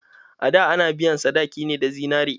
A da ana biyan sadaki ne da zinari.